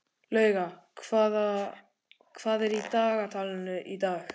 Lauga, hvað er í dagatalinu í dag?